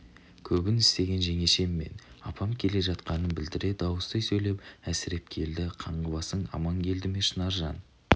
көбін істеген жеңешем мен апам келе жатқанын білдіре дауыстай сөйлеп әсіреп келді қаңғыбасың аман келді ме шынаржан